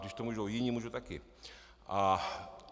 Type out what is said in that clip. Když to můžou jiní, můžu taky.